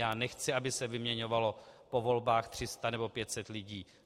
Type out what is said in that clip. Já nechci, aby se vyměňovalo po volbách 300 nebo 500 lidí.